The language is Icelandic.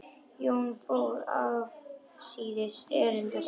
Jón fór afsíðis erinda sinna.